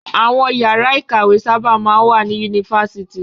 Àwọn ìyàrá-ìkàwé sábà máa ń wà ní yunifásitì.